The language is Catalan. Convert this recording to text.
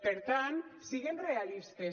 per tant siguem realistes